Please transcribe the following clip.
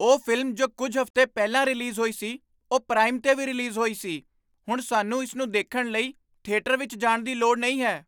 ਉਹ ਫ਼ਿਲਮ ਜੋ ਕੁੱਝ ਹਫ਼ਤੇ ਪਹਿਲਾਂ ਰਿਲੀਜ਼ ਹੋਈ ਸੀ, ਉਹ ਪ੍ਰਾਈਮ 'ਤੇ ਵੀ ਰਿਲੀਜ਼ ਹੋਈ ਸੀ! ਹੁਣ ਸਾਨੂੰ ਇਸ ਨੂੰ ਦੇਖਣ ਲਈ ਥੀਏਟਰ ਵਿੱਚ ਜਾਣ ਦੀ ਲੋੜ ਨਹੀਂ ਹੈ!